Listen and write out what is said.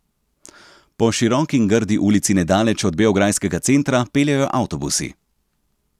Po široki in grdi ulici nedaleč od beograjskega centra peljejo avtobusi.